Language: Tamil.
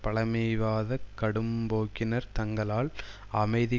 பழமைவாத கடும்போக்கினர் தங்களால் அமைதி